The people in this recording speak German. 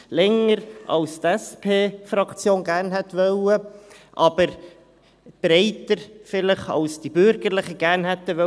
länger als die SP-JUSO-PSA-Fraktion gerne gewollt hätte, aber breiter vielleicht als die Bürgerlichen gerne gewollt hätten.